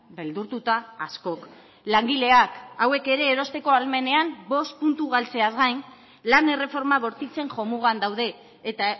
beldurtuta askok langileak hauek ere erosteko ahalmenean bost puntu galtzeaz gain lan erreforma bortitzen jomugan daude eta